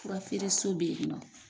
Furafereso beyinɔ.